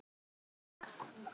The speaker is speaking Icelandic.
Gott par.